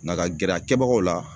Na ka gɛrɛ a kɛbagaw la